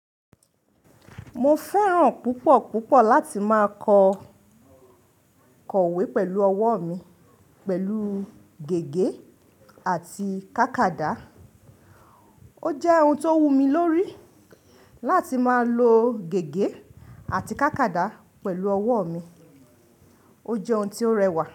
Mo fẹ́ràn púpọ̀ púpọ̀ láti máa kọ iwẹ́ pẹ̀lú ọwọ́ mi pẹ̀lú gègé àti kákàdá. Ó jẹ́ oun tó wù mí lórí láti máa lo gègé àti kákàdá pẹ̀lú ọwọ́ mi. Ó jẹ́ oun tí ó rẹwà.